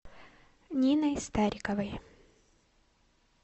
ниной стариковой